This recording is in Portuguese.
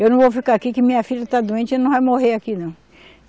Eu não vou ficar aqui que minha filha está doente e não vai morrer aqui, não.